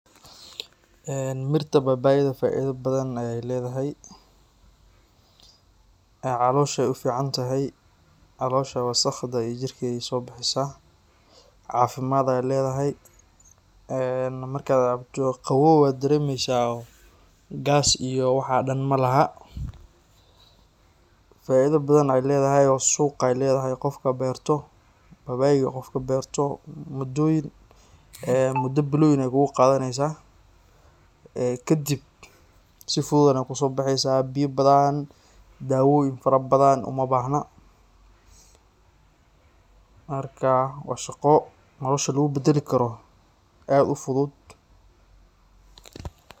Mirta babayda faida bathan ay ledahay. Calosha ay uficantahay, calosha wasaqda iyo jirka ay kasobixisaah. Cafimad ay ledahay, ee markad cabto qawow ad daremeysaah oo gas iyo waxa dhan malaha. Faida bathan ay ledahay oo suq ay ledahay. Babayga qofka berto mudo biloyin ay kuguqadaneysaah, ee kadib si fudud ay kusobexeysaah ee biya bathan iyo dawoyin fara bathan umabahna. Marka wa shaqo nolosha lagubadali karo ad u fudud.